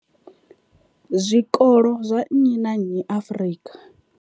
zwikolo zwa nnyi na nnyi Afrika.